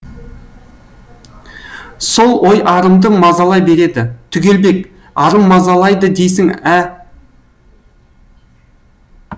сол ой арымды мазалай береді түгелбек арым мазалайды дейсің ә